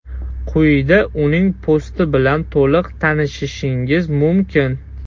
Quyida uning posti bilan to‘liq tanishishingiz mumkin.